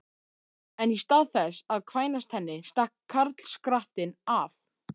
En í stað þess að kvænast henni stakk karlskrattinn af!